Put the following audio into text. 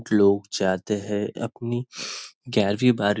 कुछ लोग जाते हैं अपनी ग्यारवीं बारवीं--